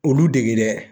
Olu dege dɛ